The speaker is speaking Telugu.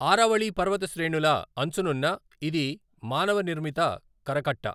ఆరావళి పర్వతశ్రేణుల అంచునున్న ఇది మానవ నిర్మిత కరకట్ట.